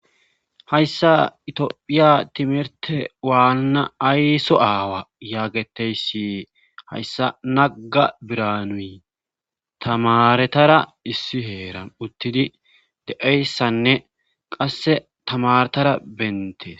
Hayssa itiphiya timirte waanna ayso aawa yaageteyssi hayssa nagga biranuy tamaretara issi heera uttidi de7eyssanne qasse tamaretara bentees